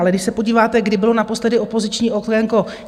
Ale když se podíváte, kdy bylo naposledy opoziční okénko?